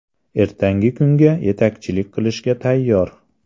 Ertangi kunga yetakchilik qilishga tayyor.